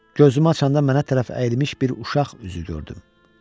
Gözümü açanda mənə tərəf əyilmiş bir uşaq üzü gördüm.